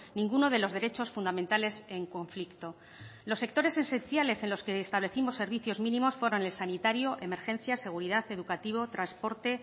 ninguno de los derechos fundamentales en conflicto los sectores esenciales en los que establecimos servicios mínimos fueron el sanitario emergencias seguridad educativo transporte